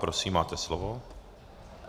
Prosím, máte slovo.